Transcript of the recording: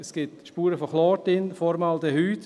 Es gibt darin Spuren von Chlor, Formaldehyd.